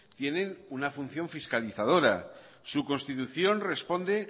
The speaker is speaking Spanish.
tienen una función fiscalizadora su constitución responde